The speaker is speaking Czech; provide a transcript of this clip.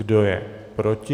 Kdo je proti?